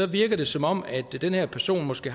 virker det som om den her person måske